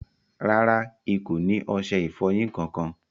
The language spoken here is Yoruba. Rárá, ì kò ni oṣẹ-ìfọ́yin kan-kan.